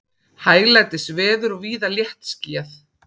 Hæglætisveður og víða léttskýjað